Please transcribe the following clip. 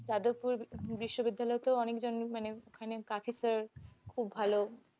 যাদবপুর বিশ্ববিদ্যালয়তেও অনেক জন মানে i mean খুব ভালো।